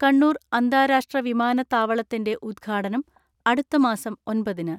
കണ്ണൂർ അന്താരാഷ്ട്ര വിമാനത്താവളത്തിന്റെ ഉദ്ഘാടനം അടുത്തമാസം ഒൻപതിന്.